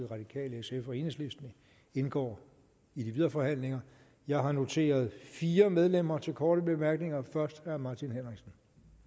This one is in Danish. radikale sf og enhedslisten indgår i de videre forhandlinger jeg har noteret fire medlemmer til korte bemærkninger først er herre martin henriksen